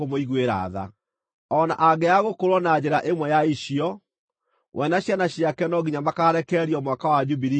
“ ‘O na angĩaga gũkũũrwo na njĩra ĩmwe ya icio, we na ciana ciake no nginya makaarekererio Mwaka wa Jubilii wakinya,